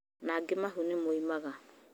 Na angĩ mahu nĩmaumaga